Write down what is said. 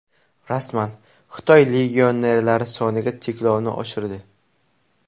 Rasman: Xitoy legionerlar soniga cheklovni oshirdi .